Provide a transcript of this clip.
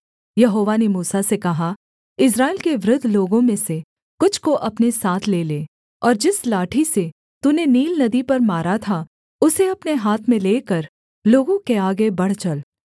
यहोवा ने मूसा से कहा इस्राएल के वृद्ध लोगों में से कुछ को अपने साथ ले ले और जिस लाठी से तूने नील नदी पर मारा था उसे अपने हाथ में लेकर लोगों के आगे बढ़ चल